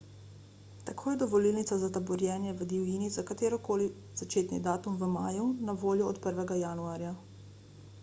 tako je dovolilnica za taborjenje v divjini za katerikoli začetni datum v maju na voljo od 1 januarja